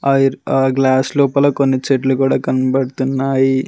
ఆ ఇర్ ఆ గ్లాస్ లోపల కొన్ని చెట్లు కుడా కన్బడ్తున్నాయి.